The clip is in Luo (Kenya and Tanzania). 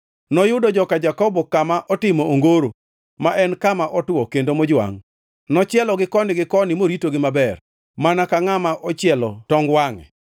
Noyudo joka Jakobo kama otimo ongoro, ma en kama otwo kendo mojwangʼ. Nochielogi koni gi koni moritogi maber, mana ka ngʼama ochielo tong wangʼe,